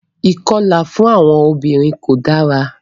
Ìkọlà fún àwọn obìnrin ko dara.